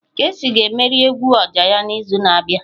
Kcee ga-emegharị egwu oja ya n'izu na-abịa.